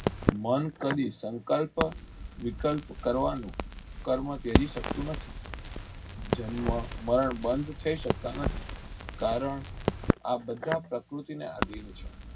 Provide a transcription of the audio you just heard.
મન કદી સંકલ્પ વિકલ્પ કરવાનું કર્મ ત્યજી શકતું નથી જન્મ બાણ થઇ સકતા નથી કારણ આ બધા પ્રકૃતિ ને આધીન છે.